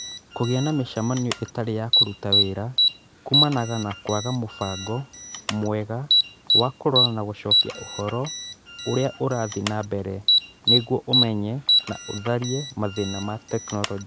Kũgĩa na mĩcemanio ĩtarĩ ya kũruta wĩra kuumanaga na kwaga mũbango mwega wa kũrora na gũcokia ũhoro ũrĩa ũrathiĩ na mbere nĩguo ũmenye na ũtharie mathĩna ma tekinoronjĩ.